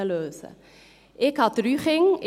Ich habe drei Kinder.